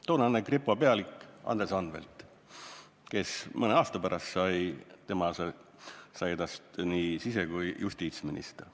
Toonane kripo pealik Andres Anvelt, kellest mõne aasta pärast sai nii sise- kui ka justiitsminister.